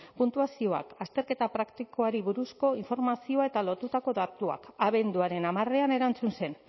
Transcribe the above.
puntuazioak azterketa praktikoari buruzko informazioa eta lotutako datuak abenduaren hamarean erantzun zen